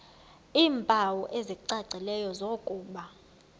iimpawu ezicacileyo zokuba